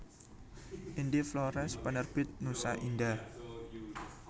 Ende Flores Penerbit Nusa Indah